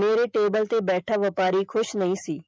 ਮੇਰੇ table ਤੇ ਬੈਠਾਵਪਾਰੀ ਖੁਸ਼ ਨਹੀਂ ਸੀ।